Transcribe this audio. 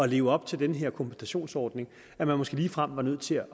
leve op til den her kompensationsordning måske ligefrem var nødt til